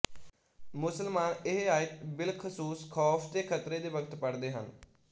ਮੁਸਲਮਾਨ ਇਹ ਆਇਤ ਬਿਲਖ਼ਸੂਸ ਖ਼ੌਫ਼ ਤੇ ਖ਼ਤਰੇ ਦੇ ਵਕਤ ਪੜ੍ਹਦੇ ਹਨ